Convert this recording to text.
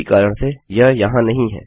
इसी कारण से यह यहाँ नहीं है